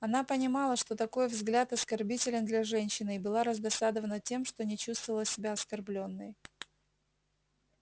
она понимала что такой взгляд оскорбителен для женщины и была раздосадована тем что не чувствовала себя оскорблённой